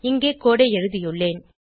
இங்கே கோடு ஐ எழுதியுள்ளேன்